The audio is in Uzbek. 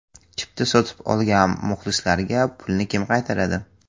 Chipta sotib olgan muxlislarga pulni kim qaytaradi?